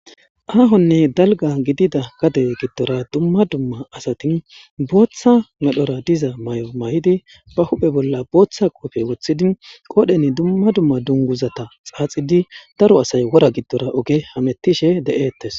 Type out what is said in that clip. Aahonne dalga gidida gade giddora dumma dumma asatin booththa medhora diza may7o may7idi ba huphe bolla booththa qofe woththidi qoodhen dumma dumma dunguzata xaaxidi daro asay wora giddora oge hamettishe de7ettes.